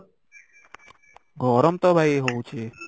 ଗରମ ତ ଭାଇ ହଉଛି